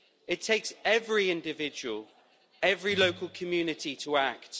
It takes every individual, every local community, to act.